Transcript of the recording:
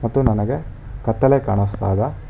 ಮತ್ತು ನನಗೆ ಕತ್ತಲೆ ಕಾಣಿಸ್ತಾ ಇದೆ.